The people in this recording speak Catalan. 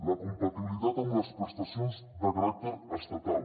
la compatibilitat amb les prestacions de caràcter estatal